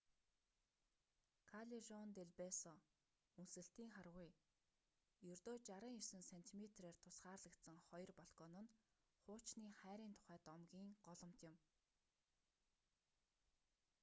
каллежон дел бесо үнсэлтийн харгуй. ердөө 69 сентиметрээр тусгаарлагдсан хоёр балкон нь хуучны хайрын тухай домгийн голомт юм